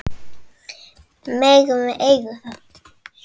Megum við eiga það?